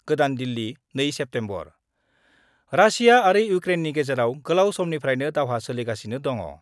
गोदान Delhi, 2 September: Russia आरो इउक्रेननि गेजेराव गोलाव समनिफ्रायनो दावहा सोलिगासिनो दङ।